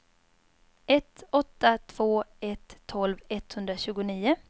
ett åtta två ett tolv etthundratjugonio